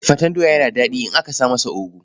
Faten doya yana da faɗi in aka sa masa ogu.